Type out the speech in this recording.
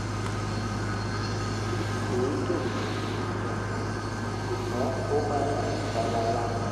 kì í dùn mí í dùn mí ṣùgbọ́n ó máa ń rìn fàlàlà